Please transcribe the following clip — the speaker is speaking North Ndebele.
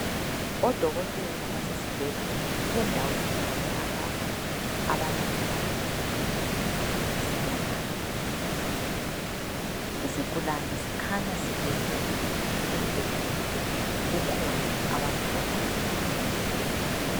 Odokotela basesibhedlela endaweni yabo lapha abalaphela khona isigulane. Isigulane sikhanya silele embhedeni, kukhona abakuhlolayo.